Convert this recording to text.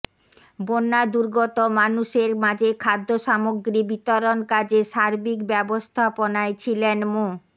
বন্যা দুর্গত মানুষের মাঝে খাদ্যসামগ্রী বিতরণ কাজে সার্বিক ব্যবস্থাপনায় ছিলেন মো